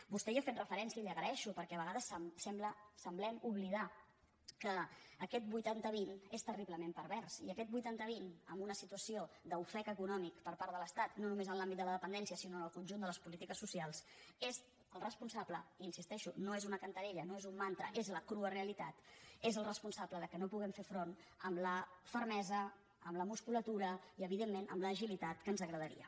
vostè hi ha fet referència i li ho agraeixo perquè a vegades semblem oblidar que aquest vuitanta vint és terriblement pervers i aquest vuitanta vint en una situació d’ofec econòmic per part de l’estat no només en l’àmbit de la dependència sinó en el conjunt de les polítiques socials és el responsable hi insisteixo no és una cantarella no és un mantra és la crua realitat que no hi puguem fer front amb la fermesa amb la musculatura i evidentment amb l’agilitat que ens agradaria